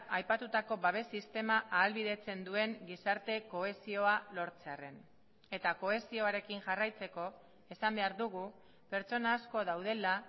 aipatutako babes sistema ahalbidetzen duen gizarte kohesioa lortzearren eta kohesioarekin jarraitzeko esan behar dugu pertsona asko daudela